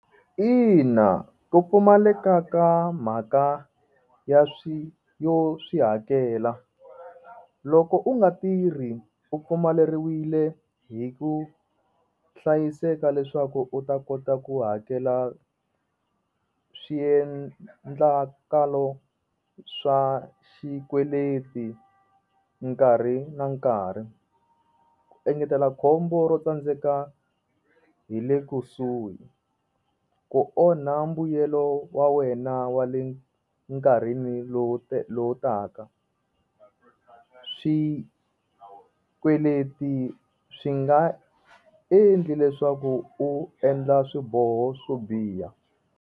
Ina, ku pfumaleka ka mhaka ya swilo yo swi hakela loko u nga tirhi u pfumaleriwile hi ku hlayiseka leswaku u ta kota ku hakela swiendlakalo swa xikweleti nkarhi na nkarhi ku engetela khombo ro tsandzeka hi le kusuhi ku onha mbuyelo wa wena wa le nkarhi lowu lowu taka swikweleti swi nga endli leswaku u endla swiboho swo biha.